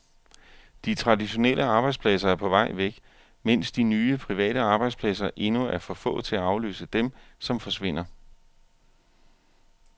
De traditionelle arbejdspladser er på vej væk, mens de nye private arbejdspladser endnu er for få til at afløse dem, som forsvinder.